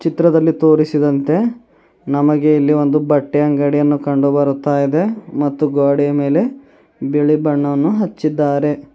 ಚಿತ್ರದಲ್ಲಿ ತೋರಿಸಿದಂತೆ ನಮಗೆ ಇಲ್ಲಿ ಒಂದು ಬಟ್ಟೆ ಅಂಗಡಿಯನ್ನು ಕಂಡು ಬರುತ್ತಾ ಇದೆ ಮತ್ತು ಗ್ವಾಡೆ ಮೇಲೆ ಬಿಳಿ ಬಣ್ಣವನ್ನು ಹಚ್ಚಿದ್ದಾರೆ.